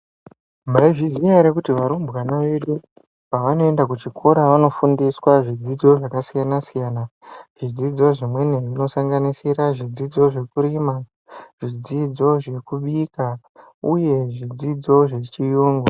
Mai zviziya ere kuti varumbwana vedu pavano enda ku chikora vano fundiswa zvidzidzo zvakasiyana zvidzidzo zvimweni zvino sanganisira zvidzidzo zve kurima zvidzidzo zveku bika uye zvidzidzo mabika uye zvidzidzo zve chiyungu.